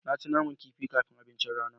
Na ci naman kifi kafin abincin rana.